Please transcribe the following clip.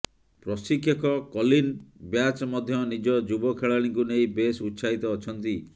ପ୍ରଶିକ୍ଷକ Colin Batch ମଧ୍ୟ ନିଜ ଯୁବ ଖେଳାଳିଙ୍କୁ ନେଇ ବେଶ୍ ଉତ୍ସାହିତ ଅଛନ୍ତି